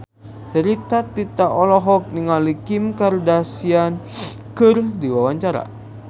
Rita Tila olohok ningali Kim Kardashian keur diwawancara